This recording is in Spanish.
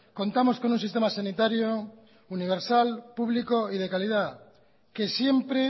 contamos con un sistema sanitario universal público y de calidad que siempre